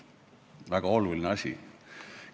Väga oluline asi.